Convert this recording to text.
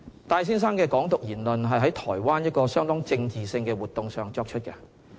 戴先生的"港獨"言論是在台灣一個相當政治性的活動上作出的。